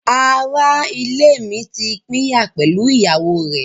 Ará-ilé mi ti pínyà pẹ̀lú ìyàwó rẹ̀.